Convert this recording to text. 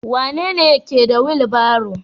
Wanene ke da wilbaron?